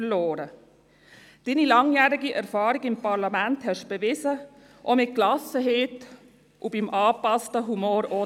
Ihre langjährige Erfahrung im Parlament bewiesen Sie auch mit Gelassenheit und zwischendurch mit angepasstem Humor.